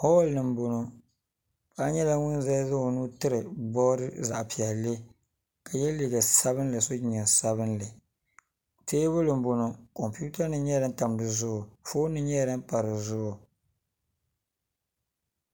Holl ni n boŋo paɣa nyɛla ŋun ʒɛya zaŋ o nuu tiri bood zaɣ piɛlli ka yɛ liiga sabinli ka so jinjɛm sabinli teebuli n boŋo kompinim nyɛla din tam di zuɣu foon nim nyɛla din pa di zuɣu